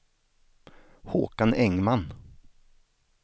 Håkan Engman